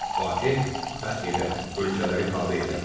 Fateh, fəth edən, ölkələri tabe edən.